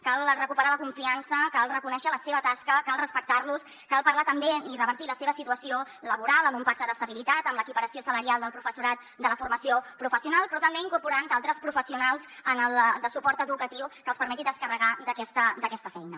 cal recuperar la confiança cal reconèixer la seva tasca cal respectar los cal parlar també i revertir la seva situació laboral amb un pacte d’estabilitat amb l’equiparació salarial del professorat de la formació professional però també incorporant d’altres professionals de suport educatiu que els permetin descarregar d’aquesta feina